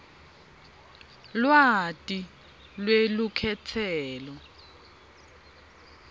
lwati lwelukhetselo